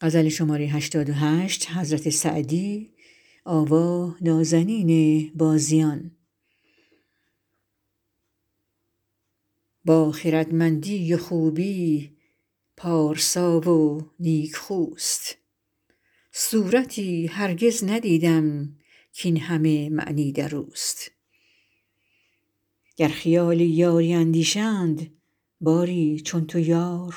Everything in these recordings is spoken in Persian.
با خردمندی و خوبی پارسا و نیکخوست صورتی هرگز ندیدم کاین همه معنی در اوست گر خیال یاری اندیشند باری چون تو یار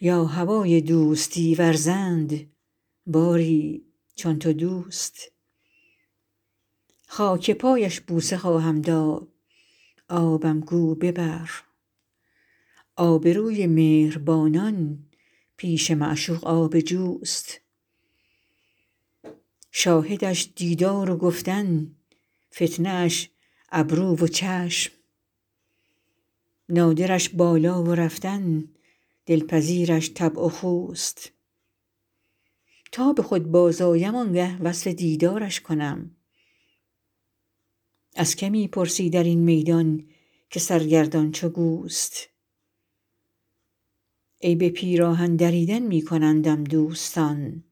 یا هوای دوستی ورزند باری چون تو دوست خاک پایش بوسه خواهم داد آبم گو ببر آبروی مهربانان پیش معشوق آب جوست شاهدش دیدار و گفتن فتنه اش ابرو و چشم نادرش بالا و رفتن دلپذیرش طبع و خوست تا به خود بازآیم آن گه وصف دیدارش کنم از که می پرسی در این میدان که سرگردان چو گوست عیب پیراهن دریدن می کنندم دوستان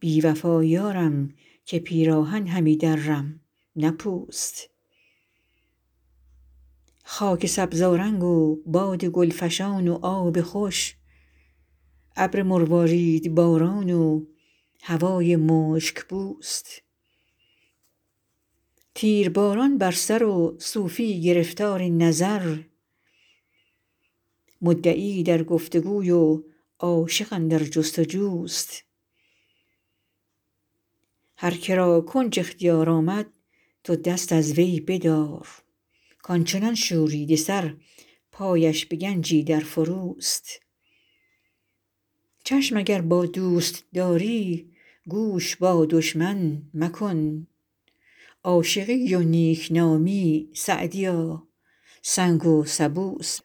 بی وفا یارم که پیراهن همی درم نه پوست خاک سبزآرنگ و باد گل فشان و آب خوش ابر مرواریدباران و هوای مشک بوست تیرباران بر سر و صوفی گرفتار نظر مدعی در گفت وگوی و عاشق اندر جست وجوست هر که را کنج اختیار آمد تو دست از وی بدار کان چنان شوریده سر پایش به گنجی در فروست چشم اگر با دوست داری گوش با دشمن مکن عاشقی و نیک نامی سعدیا سنگ و سبوست